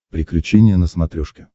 приключения на смотрешке